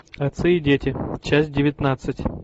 отцы и дети часть девятнадцать